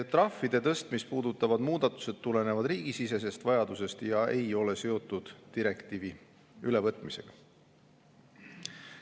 Trahvide tõstmist puudutavad muudatused tulenevad riigisisesest vajadusest ega ole seotud direktiivi ülevõtmisega.